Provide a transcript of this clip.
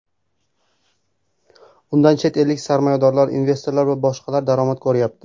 Undan chet ellik sarmoyadorlar, investorlar va boshqalar daromad ko‘ryapti.